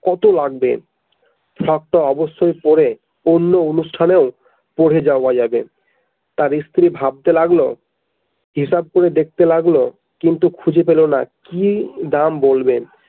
কত লাগবে frock তো অবশ্যই পড়ে অন্য অনুষ্ঠানেও পড়ে যাওয়া যাবে তাঁর ইস্ত্রি ভাবতে লাগলো হিসাব করে দেখতে লাগলো কিন্তু খুঁজে পেলোনা কি দাম বলবে।